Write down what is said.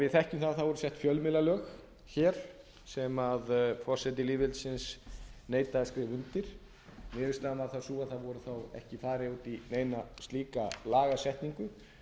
við þekkjum að það voru sett fjölmiðlalög hér sem forseti lýðveldisins neitaði að skrifa undir niðurstaðan varð þá sú að það var ekki farið út í neina slíka lagasetningu